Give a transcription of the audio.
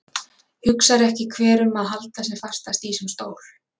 Hugsar ekki hver um að halda sem fastast í sinn stól?